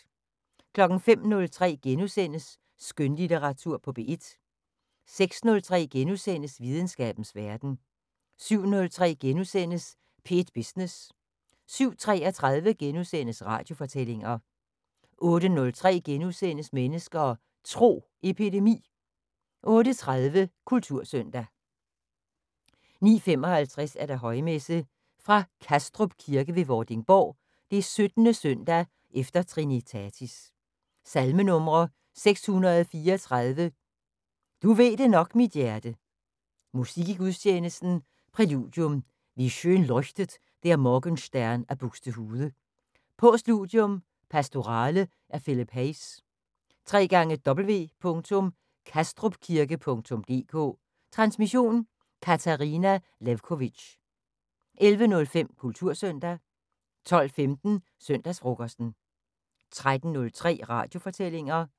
05:03: Skønlitteratur på P1 * 06:03: Videnskabens Verden * 07:03: P1 Business * 07:33: Radiofortællinger * 08:03: Mennesker og Tro: Epidemi * 08:30: Kultursøndag 09:55: Højmesse - fra Kastrup Kirke ved Vordingborg. 17. søndag efter trinitatis. Salmenumre: 634: "Du ved det nok, mit hjerte". Musik i gudstjenesten: Præludium: "Wie schön leuchtet der Morgen Stern" af Buxtehude. Postludium: "Pastorale" af Philip Hayes. www.kastrupkirke.dk Transmission: Katarina Lewkovitch. 11:05: Kultursøndag 12:15: Søndagsfrokosten 13:03: Radiofortællinger